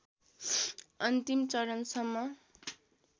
अन्तिम चरणसम्म